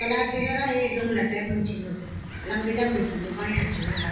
प्लास्टिक क का एक गमला टाइप म छीन लम्बी लम्बी वू बण्या छी उ पर।